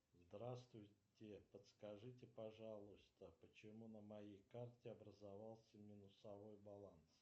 здравствуйте подскажите пожалуйста почему на моей карте образовался минусовой баланс